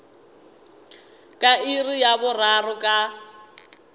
ka iri ya boraro ka